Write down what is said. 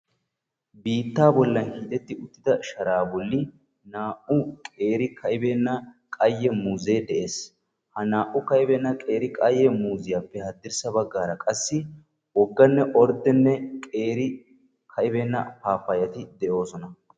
Biitta hiixxetti uttidda sharaa naa'u ka'i beenna muuzze de'ees. Hagettuppe hadirssa bagan naa'u ka'ibeenna paappayatti de'osonna.